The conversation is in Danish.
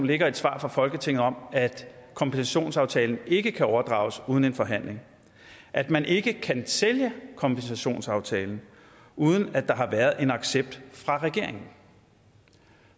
ligger et svar fra folketinget om at kompensationsaftalen ikke kan overdrages uden en forhandling at man ikke kan sælge kompensationsaftalen uden at der har været en accept fra regeringen